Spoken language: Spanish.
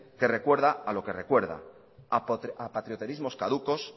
que recuerda a lo que recuerda a patrioterismos caducos